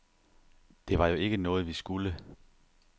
Det var jo ikke noget, vi skulle.